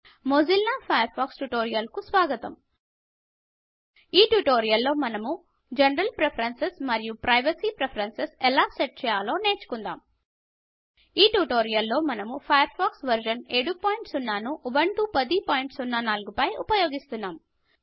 Mozilla Firefox tutorial కు స్వాగతం ఈ ట్యుటోరియల్లో మనము జనరల్ ప్రిఫరెన్సెస్ మరియు ప్రైవసీ ప్రిఫరెన్సెస్ ఎలా సెట్ చేయాలో నేర్చుకుందాం ఈ ట్యుటోరియల్లో మనము ఫయర్ ఫాక్స్ వర్షన్ 70 ను ఉబంటు 1004 పై ఉపయోగిస్తాము